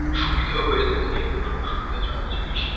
সুবিধেও হয়ে থাকে। এগুলো খুব সুবিধাজনক জিনিস।